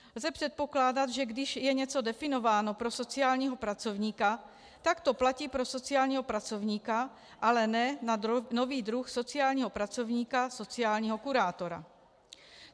Lze předpokládat, že když je něco definováno pro sociálního pracovníka, tak to platí pro sociálního pracovníka, ale ne na nový druh sociálního pracovníka - sociálního kurátora.